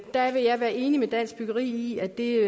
der er jeg enig med dansk byggeri i at det